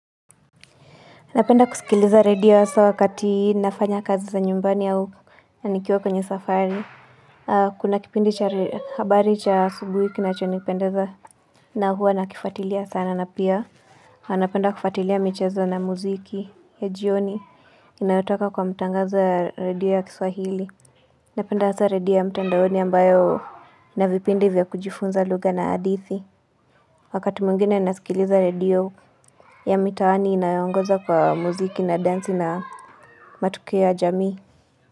Napenda kusikiliza radio hasa wakati nafanya kazi za nyumbani au nikiwa kwenye safari. Kuna kipindi cha habari cha asubuhi kinachonipendeza na huwa nakifuatilia sana na pia. Napenda kufatilia michezo na muziki ya jioni inayotoka kwa mtangaza radio ya kiswahili. Napenda hasa redio ya mtandaoni ambayo ina vipindi vya kujifunza lugha na hadithi. Wakati mwingine nasikiliza redio ya mitaani inayoongoza kwa muziki na densi na matukio ya jamii.